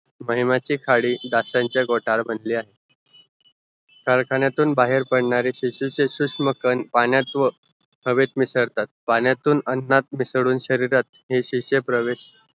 महिमानची खाडी डासांची घोटाळ मधली आहॆ कारखानेतून बाहेर पडणारे शेषू शूशम कण पाण्यात व हवेत मिसळतात पाण्यातून आणत मिसळुन शरीरात हे शिष्य प्रवेश